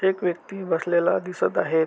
एक व्यक्ति बसलेला दिसत आहे.